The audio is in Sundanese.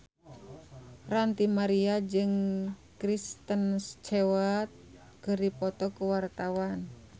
Ranty Maria jeung Kristen Stewart keur dipoto ku wartawan